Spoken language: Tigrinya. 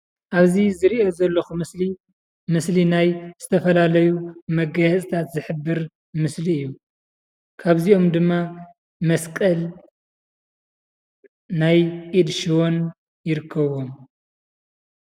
አብዚ ዝርኦ ዘለኹ ምስሊ ምስሊ ናይ ዝተፈላለዩ መጋየፅታት ዝሕብር ምስሊ እዩ ። ካብዚኦም ድማ መስቀል ናይ ኢድ ሽቦን ይርከብዎም ።